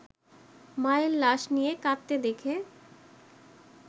মায়ের লাশ নিয়ে কাঁদতে দেখে